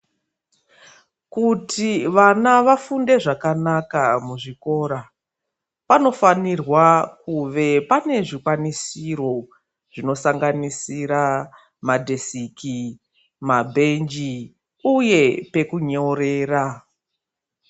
Kuti vana vafunde zvakanaka muzvikora panofanirwa kuve panezvikwanisiro zvinosanganisira madhesiki, mabhenji uye pekunyorera